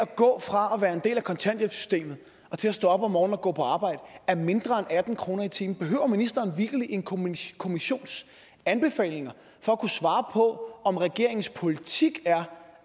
gå fra at være en del af kontanthjælpssystemet og til at stå op om morgenen og gå på arbejde er mindre end atten kroner i timen behøver ministeren vitterlig en kommissions kommissions anbefalinger for at kunne svare på om regeringens politik er